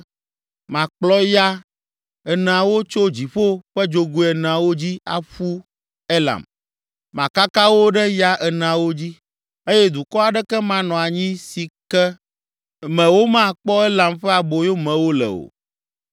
Makplɔ ya eneawo tso dziƒo ƒe dzogoe eneawo dzi aƒu Elam. Makaka wo ɖe ya eneawo dzi eye dukɔ aɖeke manɔ anyi si ke me womakpɔ Elam ƒe aboyomewo le o.